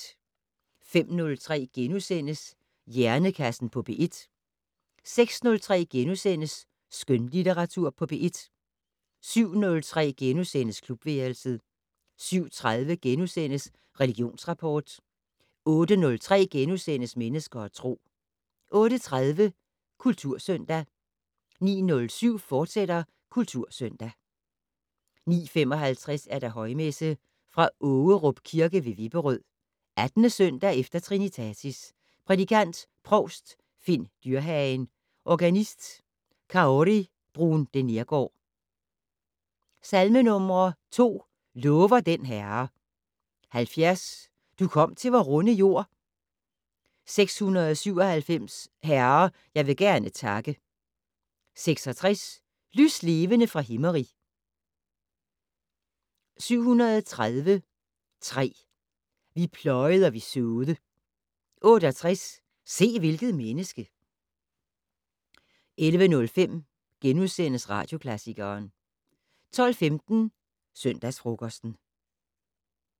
05:03: Hjernekassen på P1 * 06:03: Skønlitteratur på P1 * 07:03: Klubværelset * 07:30: Religionsrapport * 08:03: Mennesker og Tro * 08:30: Kultursøndag 09:07: Kultursøndag, fortsat 09:55: Højmesse - Fra Ågerup Kirke ved Vipperød. 18. søndag efter trinitatis. Prædikant: provst Finn Dyrhagen. Organist: Kaori Bruun de Neergaard. Salmenumre: 2: "Lover den Herre". 70: "Du kom til vor runde jord". 697: "Herre, jeg vil gerne takke". 66: "Lyslevende fra Himmerig". 730,3: "Vi pløjed og vi så'de". 68: "Se, hvilket menneske". 11:05: Radioklassikeren * 12:15: Søndagsfrokosten